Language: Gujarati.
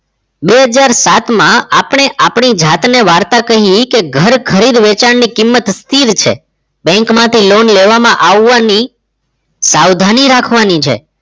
બે હજાર સાત માં આપણે આપણી જાતને વાર્તા કહી કે ઘર ખરીદ વેચાણ ની કિંમત સ્થિર છે bank માંથી loan લેવામાં આવવાની સાવધાની રાખવાની છે